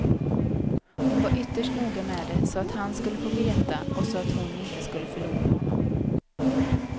Hon var ytterst noga med det så att han skulle veta och så att hon inte skulle förlora honom.